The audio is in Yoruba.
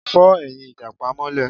Fọ́ ẹ̀yìn ìjàpá mọ́lé